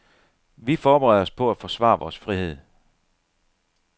Vi forbereder os på at forsvare vores frihed.